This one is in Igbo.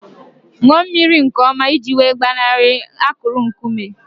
Ṅụọ mmiri nke ọma iji wee gbanarị akụrụ nkume